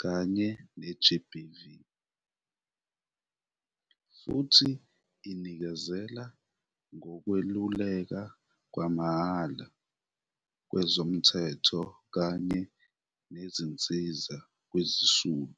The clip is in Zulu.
kanye ne-GBV, futhi inikezela ngokwelulekwa kwamahhala kwezomthetho kanye nezinsiza kwizisulu.